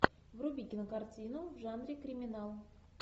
вруби кинокартину в жанре криминал